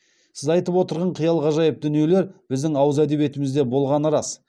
сіз айтып отырған қиял ғажайып дүниелер біздің ауыз әдебиетімізде болғаны рас